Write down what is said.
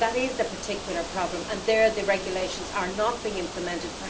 That is a particular problem, and there the regulations are not being implemented.